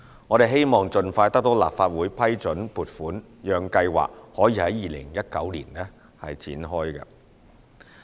我們希望盡快得到立法會批准撥款，讓計劃可以在2019年展開。